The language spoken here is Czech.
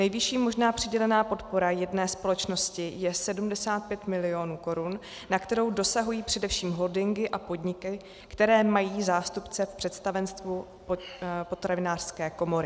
Nejvyšší možná přidělená podpora jedné společnosti je 75 milionů korun, na kterou dosahují především holdingy a podniky, které mají zástupce v představenstvu Potravinářské komory.